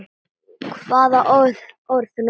Hvaða orð notar þú þá?